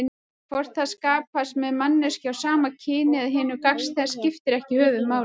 Hvort það skapast með manneskju af sama kyni eða hinu gagnstæða skiptir ekki höfuðmáli.